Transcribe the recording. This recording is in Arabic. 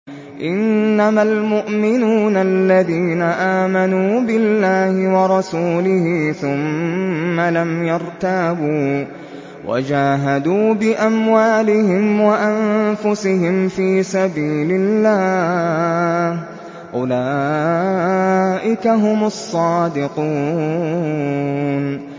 إِنَّمَا الْمُؤْمِنُونَ الَّذِينَ آمَنُوا بِاللَّهِ وَرَسُولِهِ ثُمَّ لَمْ يَرْتَابُوا وَجَاهَدُوا بِأَمْوَالِهِمْ وَأَنفُسِهِمْ فِي سَبِيلِ اللَّهِ ۚ أُولَٰئِكَ هُمُ الصَّادِقُونَ